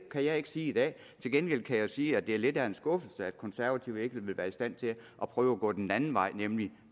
kan jeg ikke sige i dag til gengæld kan jeg sige at det er lidt af en skuffelse at de konservative ikke vil være i stand til at prøve at gå den anden vej nemlig